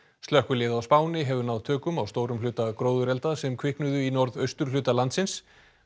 slökkvilið á Spáni hefur náð tökum á stórum hluta gróðurelda sem kviknuðu í norðausturhluta landsins